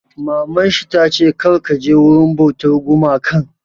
Maman shi ta ce 'Kar ka je wurin bautar gumakan'!